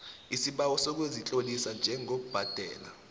isibawo sokuzitlolisa njengobhadela